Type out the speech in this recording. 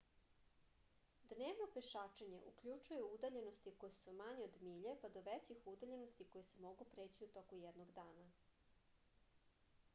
dnevno pešačenje uključuje udaljenosti koje su manje od milje pa do većih udaljenosti koje se mogu preći u toku jednog dana